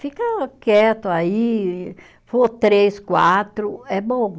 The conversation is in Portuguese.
Fica quieto aí, for três, quatro, é bom.